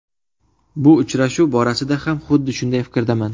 Bu uchrashuv borasida ham xuddi shunday fikrdaman.